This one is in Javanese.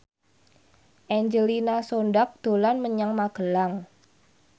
Angelina Sondakh dolan menyang Magelang